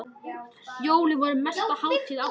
Jólin voru mesta hátíð ársins.